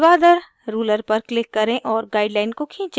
उर्ध्वाधर ruler पर click करें और guideline को खींचें